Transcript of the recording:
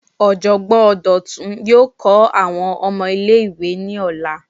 Ojogbon Dotun yoo kọ awọn ọmọ ile-iwe ni ọla